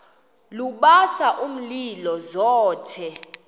lubasa umlilo zothe